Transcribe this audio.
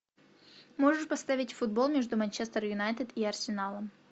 можешь поставить футбол между манчестер юнайтед и арсеналом